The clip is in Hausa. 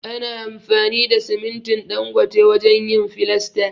Ana amfani da simintin Dangote wajen yin filasta.